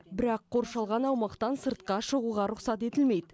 бірақ қоршалған аумақтан сыртқа шығуға рұқсат етілмейді